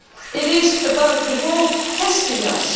It is about the world testing us.